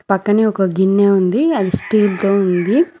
పక్కనే ఒక గిన్నె ఉంది అది స్టీల్ తో ఉంది.